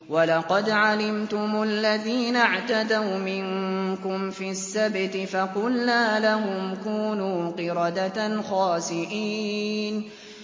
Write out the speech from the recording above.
وَلَقَدْ عَلِمْتُمُ الَّذِينَ اعْتَدَوْا مِنكُمْ فِي السَّبْتِ فَقُلْنَا لَهُمْ كُونُوا قِرَدَةً خَاسِئِينَ